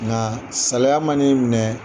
Nka salaya mana i minɛ.